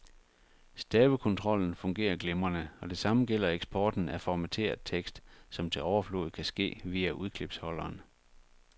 Stavekontrollen fungerer glimrende, og det samme gælder eksporten af formateret tekst, som til overflod kan ske via udklipsholderen.